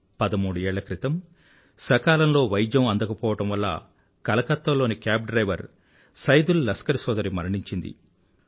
13ఏళ్ల క్రితం సకాలంలో వైద్యం అందకపోవడం వల్ల కలకత్తా లోని కేబ్ డ్రైవర్ సైదుల్ లస్కర్ సోదరి మరణించింది